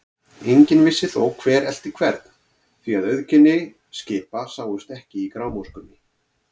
Enginn vissi þó, hver elti hvern, því að auðkenni skipa sáust ekki í grámóskunni.